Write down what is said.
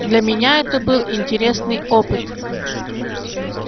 для меня это был интересный опыт